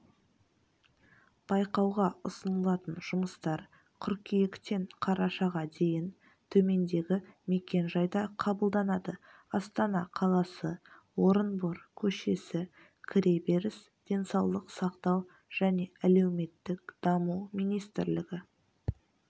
байқауға ұсынылатын жұмыстар қыркүйектен қарашаға дейін төмендегі мекен-жайда қабылданады астана қаласы орынбор көшесі кіреберіс денсаулық сақтау және әлеуметтік даму министрлігі